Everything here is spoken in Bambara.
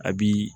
A bi